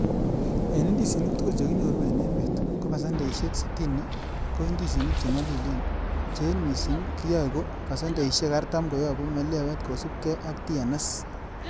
En indisinik tugul chekinyoru en emet, ko pasendeisiek sitini ko ndisinik che nyolilen, che en missing kiyoe, ko pasendeisiek artam koyobu melewe kosiibge ak TNS.